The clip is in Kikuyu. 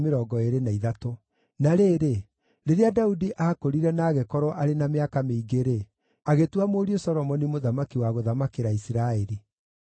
Na rĩrĩ, rĩrĩa Daudi aakũrire na agĩkorwo arĩ na mĩaka mĩingĩ-rĩ, agĩtua mũriũ Solomoni mũthamaki wa gũthamakĩra Isiraeli.